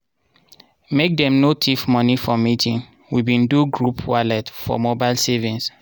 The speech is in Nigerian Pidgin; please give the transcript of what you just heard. make dem no thief moni for meeting we bin do group wallent for mobile savings.